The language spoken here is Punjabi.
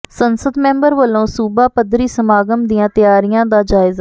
ਸੰਸਦ ਮੈਂਬਰ ਵੱਲੋਂ ਸੂਬਾ ਪੱਧਰੀ ਸਮਾਗਮ ਦੀਆਂ ਤਿਆਰੀਆਂ ਦਾ ਜਾਇਜ਼ਾ